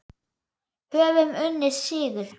Höfum unnið sigur.